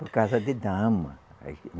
Por causa de dama.